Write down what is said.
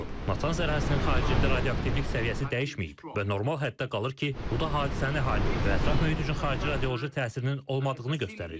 Natanz ərazisinin xaricində radioaktivlik səviyyəsi dəyişməyib və normal həddə qalır ki, bu da hadisənin əhali və ətraf mühit üçün xarici radioloji təsirinin olmadığını göstərir.